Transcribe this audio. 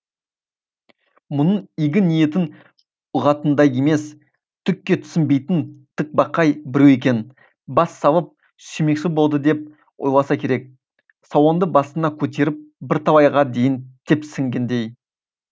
мұның игі ниетін ұғатындай емес түкке түсінбейтін тікбақай біреу екен бас салып сүймекші болды деп ойласа керек салонды басына көтеріп бірталайға дейін тепсінгендей